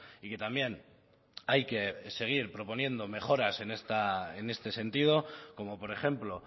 y que también hay que seguir proponiendo mejoras en este sentido como por ejemplo